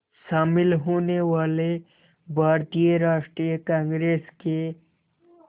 शामिल होने वाले भारतीय राष्ट्रीय कांग्रेस के